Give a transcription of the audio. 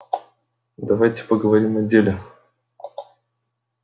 давайте поговорим о деле